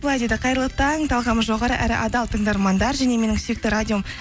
былай дейді қайырлы таң талғамы жоғары әрі адал тыңдармандар және менің сүйікті радиом